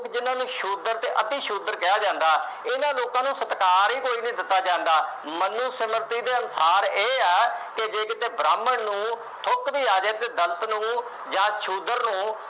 ਜਿੰਨਾ ਨੂੰ ਸ਼ੂਦਰ ਅਤੇ ਅਤਿ-ਸ਼ੂਦਰ ਕਿਹਾ ਜਾਂਦਾ, ਇਹਨਾ ਲੋਕਾਂ ਨੂੰ ਸਤਿਕਾਰ ਹੀ ਕੋਈ ਨਹੀਂ ਦਿੱਤਾ ਜਾਂਦਾ, ਮਨੋਸਮਿਰਤੀ ਦੇ ਅਨੁਸਾਰ ਇਹ ਹੈ ਕਿ ਜੇ ਕਿਤੇ ਬ੍ਰਾਹਮਣ ਨੂੰ ਥੁੱਕ ਵੀ ਆ ਜਾਏ ਤਾਂ ਨੂੰ ਜਾਂ ਸ਼ੂਦਰ ਨੂੰ